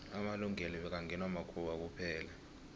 amalungelo bekngewa makhuwa kuphela